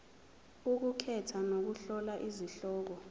ukukhetha nokuhlola izihloko